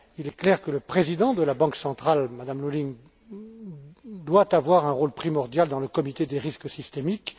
Il est clair que le président de la Banque centrale, Madame Lulling, doit avoir un rôle primordial dans le Comité du risque systémique.